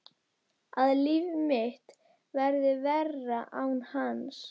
Að líf mitt verði verra án hans.